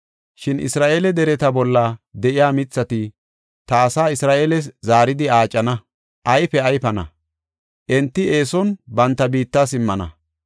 “Shin, Isra7eele dereta bolla de7iya mithati ta asaa Isra7eeles zaaridi aacana; ayfe ayfana; enti eeson banta biitta simmana.